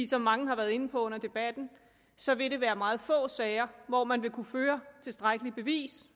som mange har været inde på under debatten så vil det være meget få sager hvor man vil kunne føre tilstrækkeligt bevis